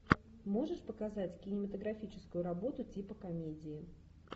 можешь показать кинематографическую работу типа комедии